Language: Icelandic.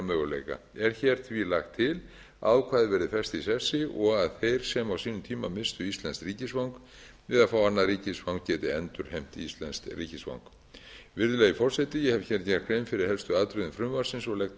möguleika er því hér lagt til að ákvæðið verði fest í sessi og að þeir sem á sínum tíma misstu íslenskt ríkisfang við að fá annað ríkisfang geti endurheimt íslenskt ríkisfang virðulegi forseti ég hef gert grein fyrir helstu atriðum frumvarpsins og